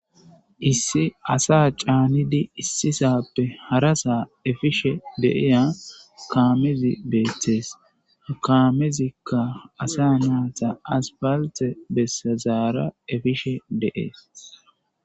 issi asa caanidi issisappe harasaa efishe deiya kaamezi beetees kaamezikka asa naata aspalte bessazaara efishe deees